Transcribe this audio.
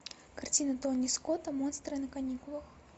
картина тони скотта монстры на каникулах